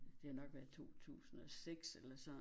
Det har nok været i 2006 eller sådan